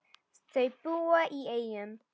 Þau búa í Eyjum.